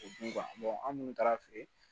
O du kan an munnu taara feere